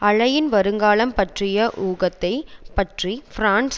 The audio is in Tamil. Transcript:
அலையின் வருங்காலம் பற்றிய ஊகத்தைப் பற்றி பிரன்ஸ்